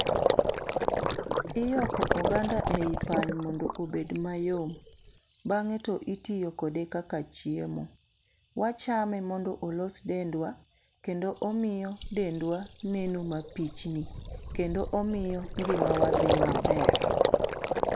Iyoko oganda e i pany mondo obed mayom. Bang'e to itiyo kode kaka chiemo. Wachame mondo olos dendwa, kendo omiyo dendwa neno mapichni, kendo omiyo ngima wa dhi maber.